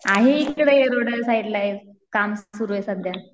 आहे इकडे साईडला काम सुरु आहे सध्या.